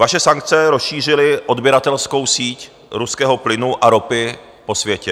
Vaše sankce rozšířily odběratelskou síť ruského plynu a ropy po světě.